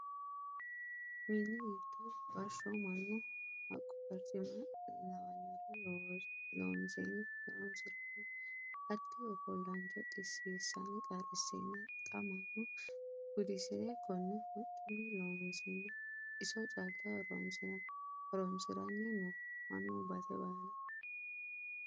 Mini giddo bashsho mannu haqqu barcima lawinore loonsenna horonsirano hatti ofollancho xisisanni qarrisenna xa mannu gudisire kone hocunni loonsenna iso calla horonsiranni no mannu base baalla.